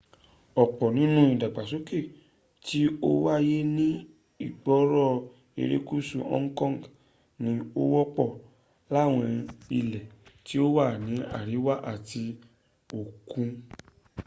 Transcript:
ọ̀pọ̀ nínú ìdàgbàsókè tí ó wáyé ní ìgboro erékùsù hong kong ni ó wọ́pọ̀ láwọn ilẹ̀ tí ó wà ní àríwá etí òku